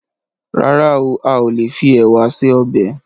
Rárá, a ò lè fi ẹ̀wà se ọbẹ̀